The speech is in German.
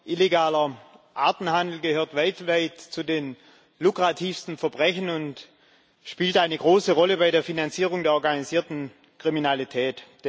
Illegaler Artenhandel gehört weltweit zu den lukrativsten Verbrechen und spielt eine große Rolle bei der Finanzierung der organisierten Kriminalität.